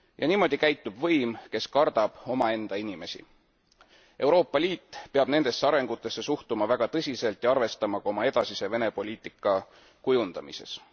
Niimoodi käitub võim, kes kardab omaenda inimesi. Euroopa Liit peab nendesse arengutesse suhtuma väga tõsiselt ja arvestama sellega ka oma edasise Vene poliitika kujundamises.